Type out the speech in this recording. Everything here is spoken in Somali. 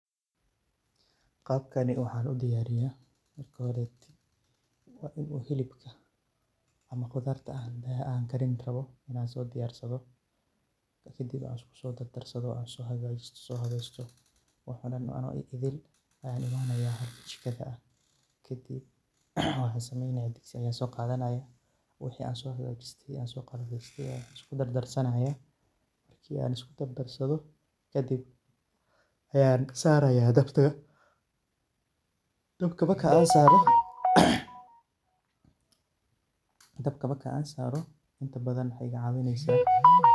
Qabkani waxa udiyariya wa inu hilibka ama qudarta an sodiyarsado kadib an iskusodarsado an sohagajisto woxo dan ano idil ayan imanaya jikada kaadib waxa sameynaya. Digsi ayan soqadanaya wixi an sohagjiste ayan iskudardarsanaya marki an iskudardarsado kadib ayan saraya dabka, dabka markan saro inta badan wexey igacawineysa.